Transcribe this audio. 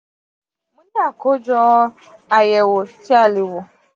fi kojọ ayẹwo ti a le wo: